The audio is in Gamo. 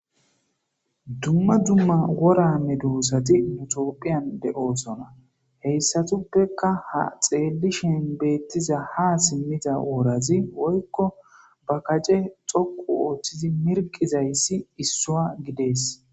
Dumma dumma wora medosati tophphiyan de'osonna; hessatupeka haa xeelishin beetiza haa simiida worazi woykko ba kace dhoqqu oothidi mirqizayssi issuwa gidees.